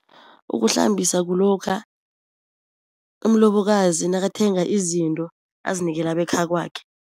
Ukuhlambisa kulokha umlobokazi nakathenga izinto azinikela bekhakwakhe.